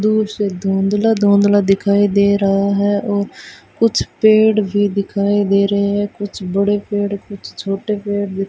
दूर से धुंधला धुंधला दिखाई दे रहा है और कुछ पेड़ भी दिखाई दे रहे है कुछ बड़े पेड़ कुछ छोटे पेड़ --